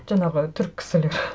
жаңағы түрік кісілер